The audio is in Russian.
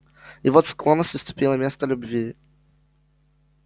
и вот склонность уступила место любви